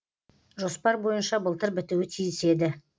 жоспар бойынша былтыр бітуі тиіс еді